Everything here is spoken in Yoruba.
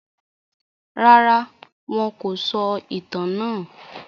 Rárá, wọn kò sọ ìtàn náà.